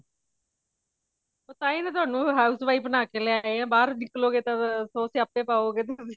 ਉਹ ਤਾਹੀਂ ਤੇ ਥੋਨੂੰ house wife ਬਣਾ ਕੇ ਲੈਆਏ ਆ ਬਾਹਰ ਨਿਕਲੋਗੇ ਤਾਂ ਸੋ ਸਿਆਪੇ ਪਾਓਗੇ ਤੁਸੀਂ